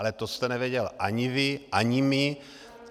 Ale to jste nevěděl ani vy, ani my.